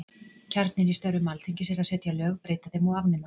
Kjarninn í störfum Alþingis er að setja lög, breyta þeim og afnema.